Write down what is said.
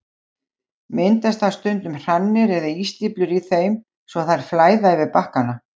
Myndast þá stundum hrannir eða ísstíflur í þeim svo að þær flæða yfir bakkana.